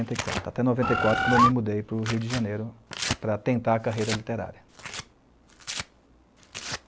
e quatro. Até noventa e quatro quando eu me mudei para o Rio de Janeiro para tentar a carreira literária.